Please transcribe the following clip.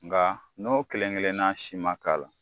Nka n'o kelen kelenna si ma k'a la